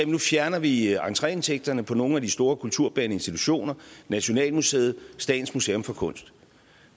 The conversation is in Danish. nu fjerner vi entreindtægterne på nogle af de store kulturbærende institutioner nationalmuseet statens museum for kunst